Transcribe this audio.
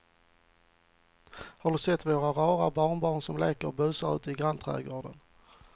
Har du sett våra rara barnbarn som leker och busar ute i grannträdgården!